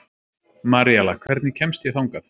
Maríella, hvernig kemst ég þangað?